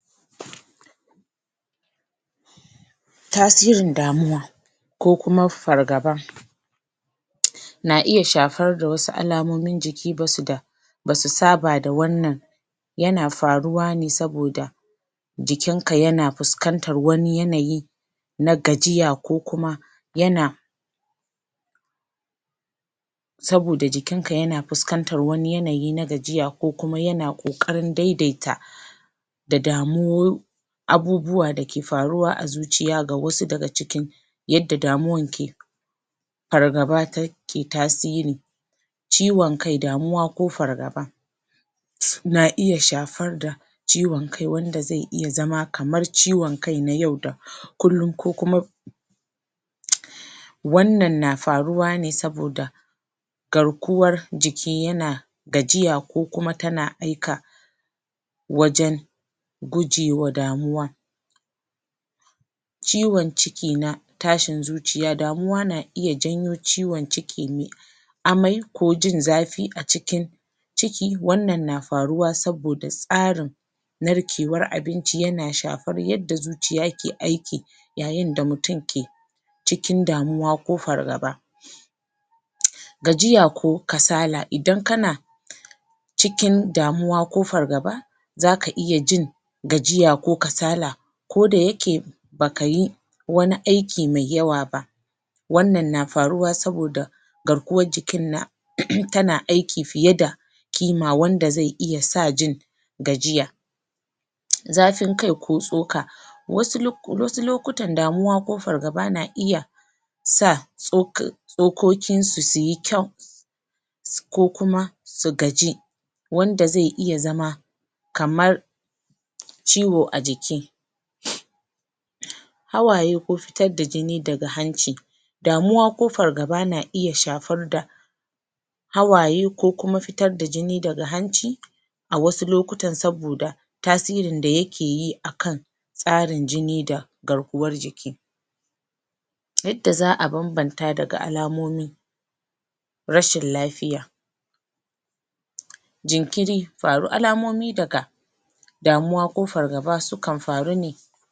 Tasirin damuwa kokuwa fargaba na iya shafar ga wasu alamomin jikin ba su da ba su saba da wannan yana faruwa ne saboda jikinka yana fuskantar wani yanayi na gajiya ko kuma yana saboda jikinka yana fuskantar wani yanayi na gajiya ko ko yana ƙoƙarin dai-daita da damuwa abubuwa da ke faruwa a zuciya ga wasu daga cikin yadda damuwan ke fargaba ta ke tasiri Ciwon kai damuwa ko fargaba. na iya shafar da ciwon kai wanda zai iya zama kamar ciwon kai na yau da kullum ko kuma wannan na faruwa ne saboda garkuwar jiki tana gajiya ko kuma tana aika wajen gujewa damuwa ciwon ciki na tashin zuciya damuwa na iya janyo ciwon ciki mai amai ko jin zafi a cikin ciki wannan na faruwa saboda tsarin narkewar abinci yana shafar yadda zuciya ke aiki ya yin da mutum ke cikin damuwa ko fargaba gajiya ko kasala idan kana cikin damuwa ko fargaba za ka iya jin gajiya ko kasala koda yake ba ka yi wani aiki mai yawa ba. wannan na faruwa saboda garkuwar jikin na tana aiki fiye da kima wanda zai iya sa gajiya. zafin kai ko tsoka wasu lokutan damuwa ko fargaba na iya sa tsoka tsokokinsu su yi kyau ko kuma su gaji wanda zai iya zama kamar ciwo a jiki hawaye ko fitar da jini daga hanci damuwa ko fargaba na iya shafar da hawaye ko kuma fitar da jini daga hanci a wasu lokutan saboda tasirin da yake yi a kan tsarun jini da garkuwar jiki. yadda za a banbanta daga alamomi. rashin lafiya jinkir alamomi daga damuwa ko fargaba sukan faru ne.